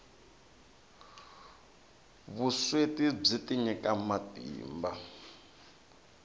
vusweti byi tinyika matimba